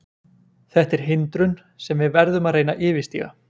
Þetta er hindrun sem við verðum að reyna að yfirstíga.